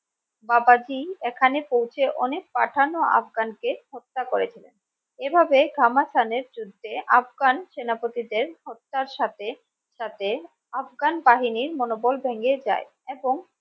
বাবাজী এখানে পৌঁছে অনেক পাঠান ও আফগান কে হত্যা করেছিলেন এভাবে খামসানের যুদ্ধে আফগান সেনাপতি দের হত্যার সাথে সাথে আফগান বাহিনীর মনোবল ভেঙে যায় এবং